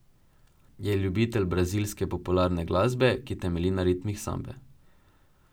Je ljubitelj brazilske popularne glasbe, ki temelji na ritmih sambe.